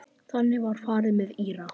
Þannig var farið með Íra.